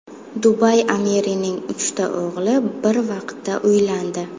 Dubay amirining uchta o‘g‘li bir vaqtda uylandi.